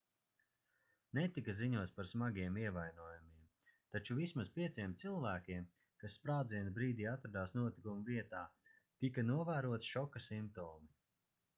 netika ziņots par smagiem ievainojumiem taču vismaz pieciem cilvēkiem kas sprādziena brīdī atradās notikuma vietā tika novēroti šoka simptomi